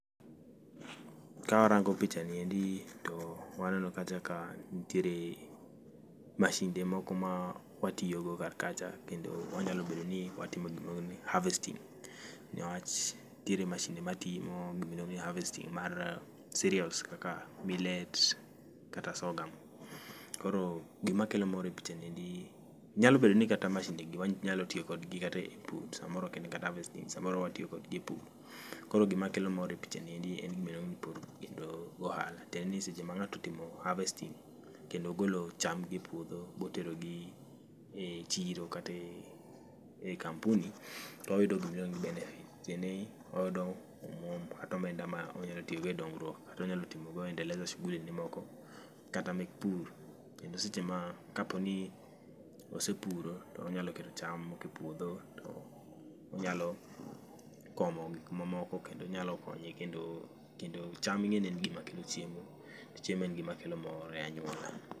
Ka warango picha niendi to waneno kacha ka nitiere mashinde moko ma watiyogo kar kacha kendo wanyalo bedo ni watimo gimoro ni [c]harvesting. Niwach nitiere mashinde matimo gima iluongo ni harvesting mar cereals kaka millet kata sorghum. Koro gima kelo mor e picha niendi, nyalo bedo ni kata mashinde gi wanyalo tiyo kodgi kata e pur, samoro ok en kata harvesting, samoro watiyo kodgi e pur. Koro gima kelo mor e picha niendi en gima iluongo pur kendo go ohala. Tiende ni seche ma ng'ato otimo harvesting kendo ogolo cham gi e puodho botero gi e chiro kata e kampuni toyudo gima iluongo ni benefit. Tiende ni oyudo omuom kata omenda ma onyalo tiyo go e dongruok kata onyalo timo go endeleza shuguli ge moko kata mek pur. Kendo seche ma kapo ni osepuro tonyalo kelo cham moko e puodho to onyalo komo gik mamoko kendo onyalo konye kendo, kendo cham ing'eni en gima kelo chiemo to chiemo en gima kelo mor ei anyuola.